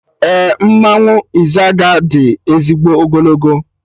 Ee, mmanwụ Izaga di ezigbo ogologo